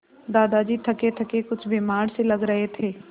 दादाजी थकेथके कुछ बीमार से लग रहे थे